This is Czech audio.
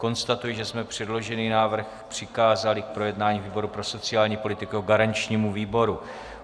Konstatuji, že jsme předložený návrh přikázali k projednání výboru pro sociální politiku jako garančnímu výboru.